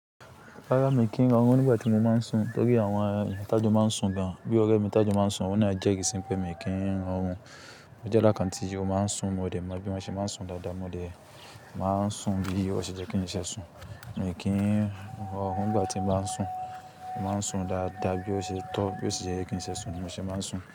Rárá, mi kì í rọrùn nígbà tí mo máa ń sùn torí àwọn eyan ta jo máa ń sùn gan. Bí ọ̀rẹ́ mi tajà máa ń sùn, òun na je ri si pé mi kì í rọrùn. Mo je eda kan tí o máa ń sùn, mo dẹ̀ mọ bí mo ṣe máa ń sùn dáadáa. Mo dẹ̀ máa ń sùn bí ó ṣe jẹ́ kí n ṣe sùn. Mi kì í rọrùn nígbà tí mo báa ń sùn. Mo máa ń sùn dáadáa bí ó ṣe tọ́, bí ó ṣe ye kí n ṣe sùn ni mo ṣe máa ń sùn.